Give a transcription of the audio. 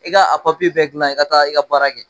I ka a papiye bɛɛ dilan i ka taa i ka baara kɛ